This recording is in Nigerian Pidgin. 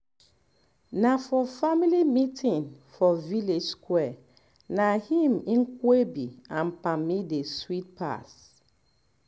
na for family meeting for village square na im nkwobi and palmi dey sweet pass